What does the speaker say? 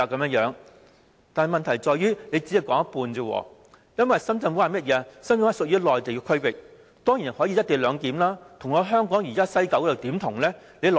但是，問題在於政府只說了一半，因為深圳灣屬於內地區域，當然可以實施"一地兩檢"，又怎能跟西九站相提並論？